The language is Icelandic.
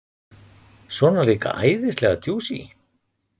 Svona líka æðislega djúsí!